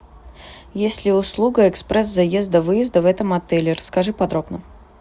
есть ли услуга экспресс заезда выезда в этом отеле расскажи подробно